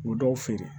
U bɛ dɔw feere